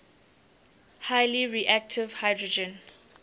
highly reactive hydrogen